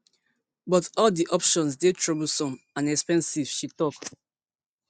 but all di options dey troublesome and expensive she tok